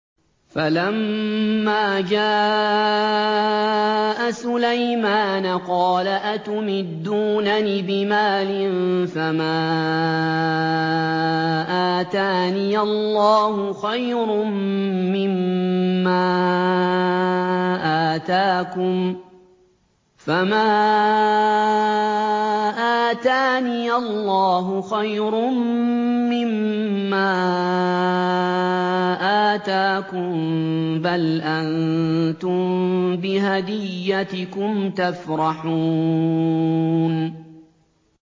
فَلَمَّا جَاءَ سُلَيْمَانَ قَالَ أَتُمِدُّونَنِ بِمَالٍ فَمَا آتَانِيَ اللَّهُ خَيْرٌ مِّمَّا آتَاكُم بَلْ أَنتُم بِهَدِيَّتِكُمْ تَفْرَحُونَ